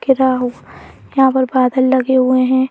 गिरा हु यहां पर बादल लगे हुए हैं।